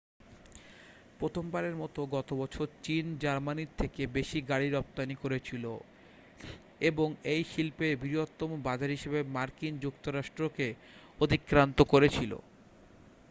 প্রথমবারের মতো গতবছর চীন জার্মানীর থেকে বেশি গাড়ি রপ্তানি করেছিল এবং এই শিল্পের বৃহত্তম বাজার হিসেবে মার্কিন যুক্তরাষ্ট্র কে অতিক্রান্ত করেছিল